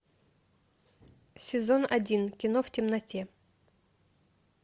сезон один кино в темноте